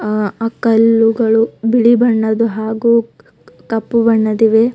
ಆ ಕಲ್ಲುಗಳು ಬಿಳಿ ಬಣ್ಣದ್ ಹಾಗು ಕಪ್ಪು ಬಣ್ಣದಿವೆ.